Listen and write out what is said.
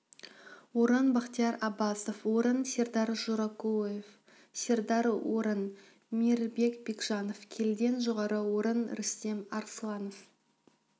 орын бахтияр аббасов орын сердар жоракулыев сердар орын мирбек бекжанов келіден жоғары орын рустем арсланов